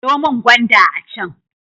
Sayo min gwanda a can.